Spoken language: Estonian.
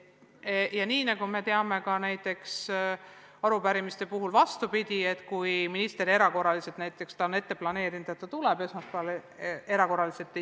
Ja nagu me teame, on arupärimiste puhul olnud ka vastupidi: minister on planeerinud, et ta tuleb esmaspäeval, aga erandkorras ei ole saanud.